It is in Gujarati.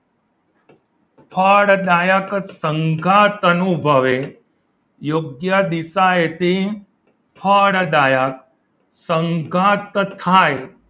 ફળદાયક સંગાથ અનુભવે યોગ્ય દિશા એથી ફળદાયક સંગાથ થાય